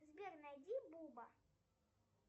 сбер найди буба